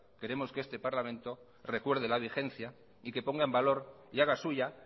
queremos que este parlamento recuerde la vigencia y que ponga en valor y haga suya